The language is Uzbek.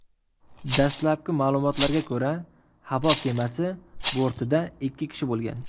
Dastlabki ma’lumotlarga ko‘ra, havo kemasi bortida ikki kishi bo‘lgan.